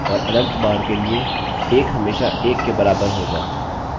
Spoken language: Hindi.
अतः चूँकि लूप हमेशा दोहराया जायेगा आपका ब्राउज़र काम करना बंद कर देगा